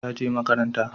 ta je makaranta